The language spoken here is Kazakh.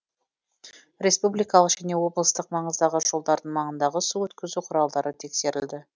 республикалық және облыстық маңыздағы жолдардың маңындағы су өткізу құралдары тексерілді